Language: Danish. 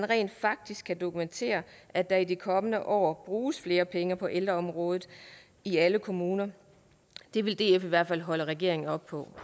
rent faktisk kan dokumenteres at der i de kommende år bruges flere penge på ældreområdet i alle kommuner det vil df i hvert fald holde regeringen op på